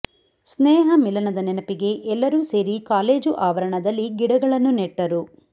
ಸ್ನೇಹ ಮಿಲನ ನದ ನೆನಪಿಗೆ ಎಲ್ಲರೂ ಸೇರಿ ಕಾಲೇಜು ಆವರಣದಲ್ಲಿಗಿಡಗಳನ್ನು ನೆಟ್ಟರು